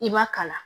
I ma kalan